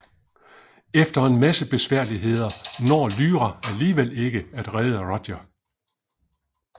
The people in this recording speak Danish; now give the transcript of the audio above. Efter en masse besværligheder når Lyra alligevel ikke at redde Roger